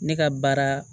Ne ka baara